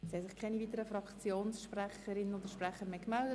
Es haben sich keine weiteren Fraktionssprecherinnen oder -sprecher gemeldet.